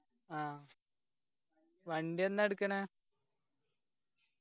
ആ വണ്ടി എന്നാ എട്ക്കണെ